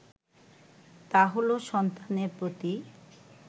তা হলো সন্তানের প্রতি